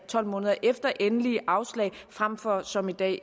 tolv måneder efter endeligt afslag frem for som i dag